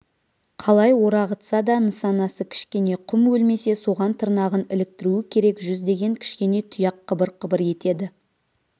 қалай орағытса да нысанасы кішкене құм өлмесе соған тырнағын іліктіруі керек жүздеген кішкене тұяқ қыбыр-қыбыр етеді